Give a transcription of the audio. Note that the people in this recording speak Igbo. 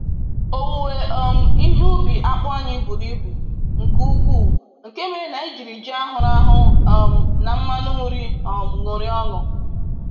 Owuwe um ihe ubi akpu anyị buru ibu nke uku, nke mere na anyị jiri ji ahụrụ ahụ um na mmanụ nri um ṅụrịa ọṅụ.